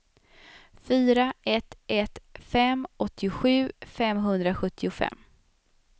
fyra ett ett fem åttiosju femhundrasjuttiofem